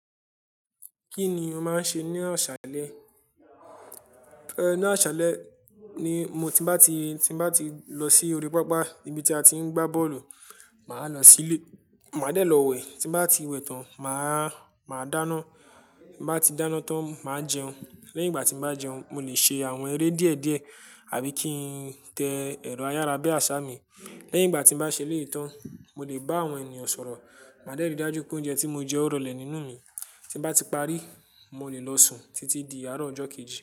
Kí ni o máa ń ṣe ní ọ̀ṣàlẹ̀? Ni ọ̀ṣàlẹ̀ ni mo ti bá ti, tí bá ti lọ sí orí pápá ibi tí a ti ń gbá bọ́ọ̀lù, màá lọ sílé, màá dẹ̀ lọ wẹ̀. Tí bá ti wẹ̀ tán, màá, màá dáná. Bá ti dáná tán, màá jẹun. Lẹ́yìn ìgbà tí bá jẹun, mo lè ṣe àwọn eré díẹ̀ díẹ̀ àbí kí n tẹ ẹ̀rọ ayárabíàṣá mi. Lẹ́yìn ìgbà tí bá ṣe léè tán, mo lè bá àwọn ènìyàn sọ̀rọ̀. Màá dẹ̀ ri dájú pé oúnjẹ tí mo jẹ ó rọlẹ̀ nínú mi. Tí bá ti parí, mo lè lọ sùn títí di àárọ̀ ọjọ́ kejì.